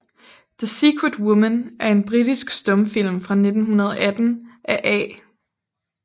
The Secret Woman er en britisk stumfilm fra 1918 af A